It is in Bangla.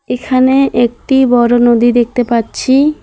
এইখানে একটি বড় নদী দেখতে পাচ্ছি।